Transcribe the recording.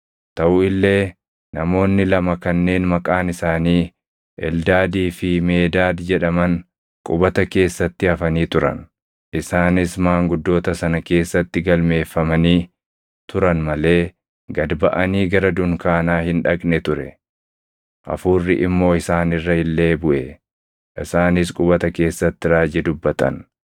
Taʼu illee namoonni lama kanneen maqaan isaanii Eldaadii fi Meedaad jedhaman qubata keessatti hafanii turan. Isaanis maanguddoota sana keessatti galmeeffamanii turan malee gad baʼanii gara dunkaanaa hin dhaqne ture. Hafuurri immoo isaan irra illee buʼe; isaanis qubata keessatti raajii dubbatan.